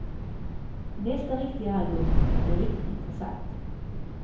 Nästa riktiga album kan bli riktigt intressant.